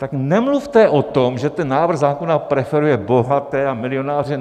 Tak nemluvte o tom, že ten návrh zákona preferuje bohaté a milionáře.